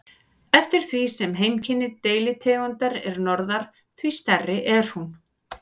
Eftir því sem heimkynni deilitegundar er norðar, því stærri er hún.